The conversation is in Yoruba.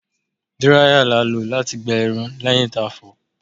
Díráíyà la lò láti gbẹ irun lẹ́yìn tí a fọ̀ọ́.